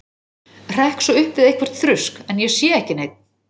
Hrekk svo upp við eitthvert þrusk, en ég sé ekki neinn.